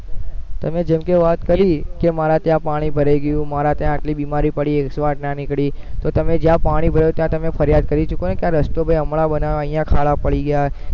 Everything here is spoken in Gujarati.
તમે જેમકે વાત કરી કે મારા ત્યાં પાણી ભરાઈ ગયું મારા ત્યાં આટલી બીમારી પડી ના નીકળી તો તમે જ્યાં પાણી ભરાઈ ત્યાં તમે ફરિયાદ કરી શકો કે આ રસ્તો ભૈ હમણાં બનાયો હમણાં ખાડા પડી ગયા